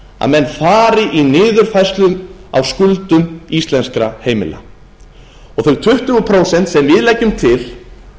að menn fari í niðurfærslu á skuldum íslenskra heimila þau tuttugu prósent sem við leggjum til